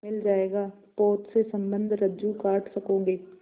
मिल जाएगा पोत से संबद्ध रज्जु काट सकोगे